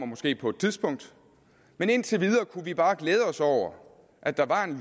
måske på et tidspunkt men indtil videre kunne vi jo bare glæde os over at der var